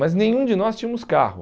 Mas nenhum de nós tínhamos carro.